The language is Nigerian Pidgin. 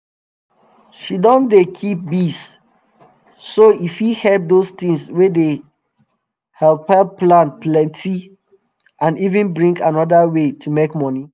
she don dey keep bees so e fit help dose tins wey dey hepl hepl plant plenty and even bring anoda way to make money